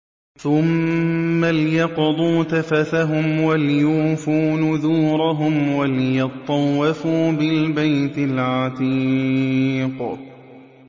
ثُمَّ لْيَقْضُوا تَفَثَهُمْ وَلْيُوفُوا نُذُورَهُمْ وَلْيَطَّوَّفُوا بِالْبَيْتِ الْعَتِيقِ